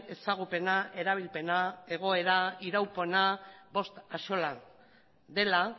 ezagupena erabilpena egoera iraupena bost axola dela